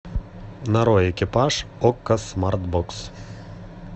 нарой экипаж окко смарт бокс